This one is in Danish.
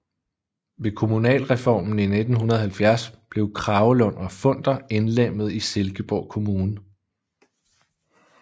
Ved kommunalreformen i 1970 blev Kragelund og Funder indlemmet i Silkeborg Kommune